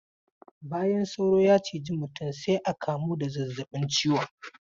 Bayan sauro ya ciji mutum sai a kamuwa da zazzabin ciwon.